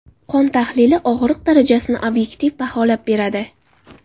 Qon tahlili og‘riq darajasini obyektiv baholab beradi.